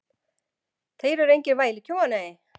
Þeir eru engir vælukjóar, nei.